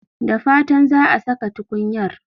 Da fatan za a saka tukunyar.